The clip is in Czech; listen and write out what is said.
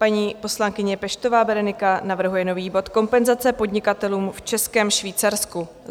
Paní poslankyně Peštová Berenika navrhuje nový bod Kompenzace podnikatelům v Českém Švýcarsku.